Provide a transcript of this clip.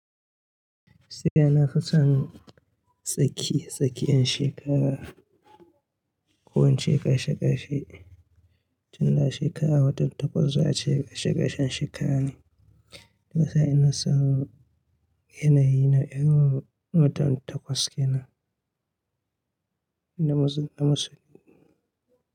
Gaskiya nafi son tsakiye-tsakiyen shekara ko ince ƙashe-ƙashe. Tun da a shekara watan takwas za a ce ƙashe-ƙashen shekara ne. Duk da dai ina son yanayi na irin watan takwas ke nan da musul da musul.